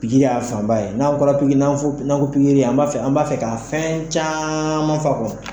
Pikiri ya fanba ye n'an ko pikiri an b'a an b'a fɛ ka fɛn caman f'a kɔnɔ.